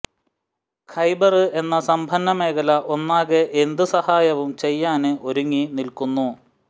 ഖൈബര് എന്ന സമ്പന്ന മേഖല ഒന്നാകെ എന്ത് സഹായവും ചെയ്യാന് ഒരുങ്ങി നില്ക്കുന്നു